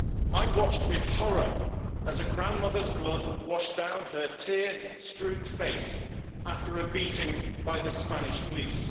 I watched with horror as a grandmother's blood washed down her tear strewn face after a beating by the Spanish police.